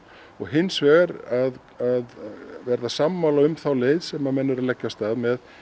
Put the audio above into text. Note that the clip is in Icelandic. hins vegar að verða sammála um þá leið sem menn eru að leggja af stað með